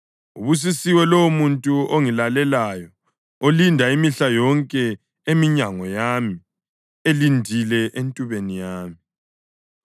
Ubusisiwe lowomuntu ongilalelayo, olinda imihla yonke eminyango yami, elindile entubeni yami.